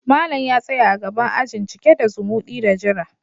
Malam ya tsaya a gaban ajin, cike da zumudi da jira.